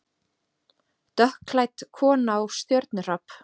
Dökkklædd kona og stjörnuhrap